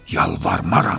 Yalvarmaram.